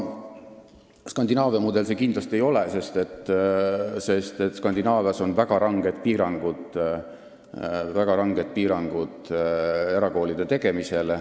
Skandinaavia mudel see kindlasti ei ole, sest Skandinaavias on väga ranged piirangud erakoolide tegemisel.